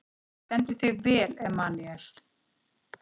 Þú stendur þig vel, Emmanúel!